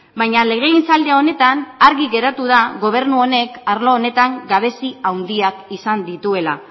baina legegintzaldi honetan argi geratu da gobernu honek arlo honetan gabezi handiak izan dituela